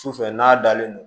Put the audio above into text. Sufɛ n'a dalen don